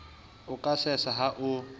o ka sesa ha o